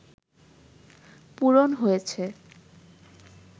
পূরণ হয়েছে